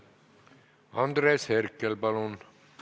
Andres Herkel, palun!